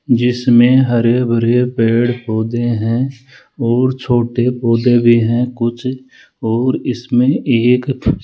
जिसमें हरे भरे पेड़ पौधे है और छोटे पौधे भी है कुछ और इसमें एक --